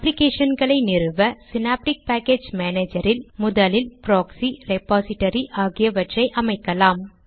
அப்ளிகேஷன்களை நிறுவ synaptic package மானேஜரில் முதலில் ப்ராக்ஸி ரெபாசிடரி ஆகியவற்றை அமைக்கலாம்